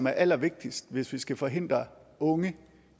er allervigtigst hvis vi skal forhindre unge